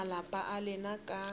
a malapa a lena ka